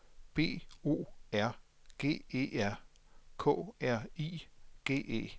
B O R G E R K R I G E